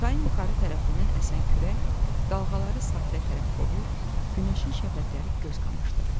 Çayın yuxarı tərəfindən əsən külək dalğaları sahilə tərəf qovur, günəşin şəfəqləri göz qamaşdırırdı.